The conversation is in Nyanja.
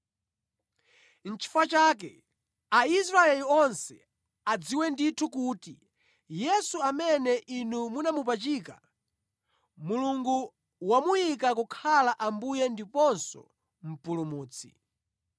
“Nʼchifukwa chake, Aisraeli onse adziwe ndithu kuti, Yesu amene inu munamupachika, Mulungu wamuyika kukhala Ambuye ndiponso Mpulumutsi.”